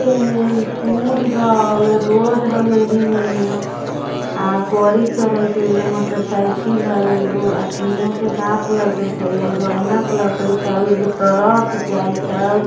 पुल हउ वो रोड हउवे एहीमे अ गोडी चलइत हई मोटरसाइकिल हउ एगो आदमियाँ के हाथ लौकत हई एगो एनक लउकईत हउ एगो ट्रक जाइत हउ --